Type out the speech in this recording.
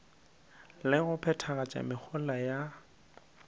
le go phethagatša mehola ya